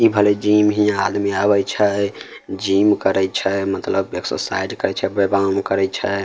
इ भले जिम हिया आदमी आवे छै जिम करे छे। मतलब एक्सरसाइज करे छै व्यायाम करे छै।